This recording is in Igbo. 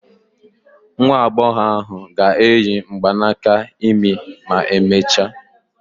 Nwa agbọghọ ahụ ga-eyi mgbanaka imi ma emechaa.